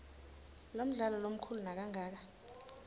lomdlalo lomkhulu nakangaka